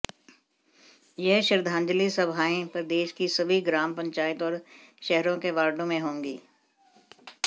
यह श्रद्धाजलि सभाएं प्रदेश की सभी ग्राम पंचायत और शहरों के वार्डों में होगी